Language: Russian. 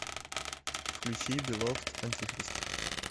включи беловд антихрист